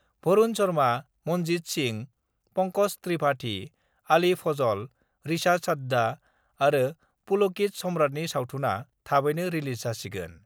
भरुण शर्मा, मनजत सिं, पंकज त्रिपाठि, आलि फजल, ऋचा चडढा आरो पुलकित सम्राटनि सावथुनआ थाबैनो रिलिज जासिगोन।